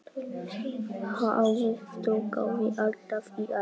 Hafið togaði alltaf í Aríel.